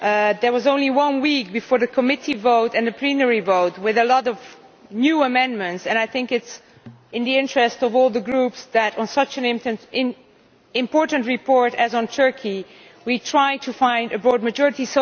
There was only one week before the committee vote and the plenary vote with a lot of new amendments, and I think it is in the interest of all the Groups that on such an important report as Turkey we try to find a broad majority.